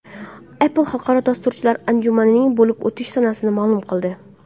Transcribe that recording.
Apple xalqaro dasturchilar anjumaning bo‘lib o‘tish sanasini ma’lum qildi.